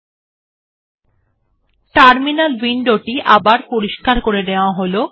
lt৫ ৬ second চালানো হল GT terminal window টি আবার পরিস্কার করে নেওয়া হল